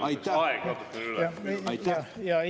Hea küsija, nüüd läks aeg natukene üle.